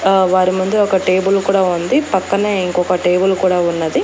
ఆ వారి ముందు ఒక టేబుల్ కూడా ఉంది పక్కనే ఇంకొక టేబుల్ కూడా ఉన్నది.